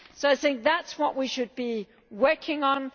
So I think that is what we should be working on.